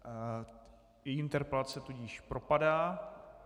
Její interpelace tudíž propadá.